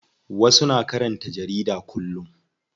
Wasu na karanta jarida kullum.